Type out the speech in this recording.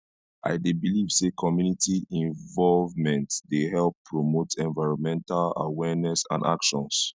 i dey believe say community involvement dey help promote envirnmental awareness and actions